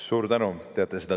Suur tänu!